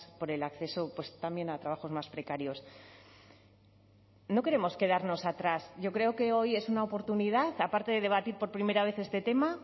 por el acceso también a trabajos más precarios no queremos quedarnos atrás yo creo que hoy es una oportunidad aparte de debatir por primera vez este tema